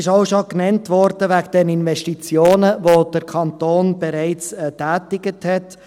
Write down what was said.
Es wurden auch schon die Investitionen genannt, welche das Inselspital bereits getätigt hat.